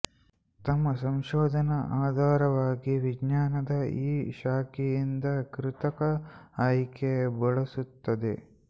ತಮ್ಮ ಸಂಶೋಧನಾ ಆಧಾರವಾಗಿ ವಿಜ್ಞಾನದ ಈ ಶಾಖೆಯಿಂದ ಕೃತಕ ಆಯ್ಕೆ ಬಳಸುತ್ತದೆ